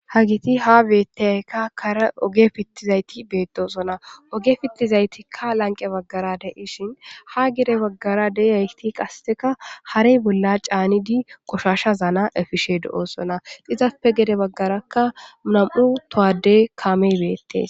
Hageti ha betiyageka karen oge pitishe betosona oge pitizayitika lanqe bagara de'ishin ha gede bagara deyiyageti qasika hare bolla ca'anidi qoshashazana efishe de'osona izappe gede bagaraka na'mu toho kame betees